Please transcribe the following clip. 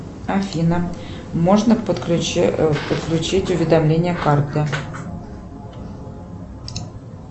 афина можно подключить уведомление карты